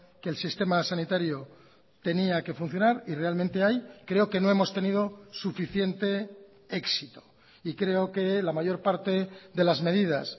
que el sistema sanitario tenía que funcionar y realmente ahí creo que no hemos tenido suficiente éxito y creo que la mayor parte de las medidas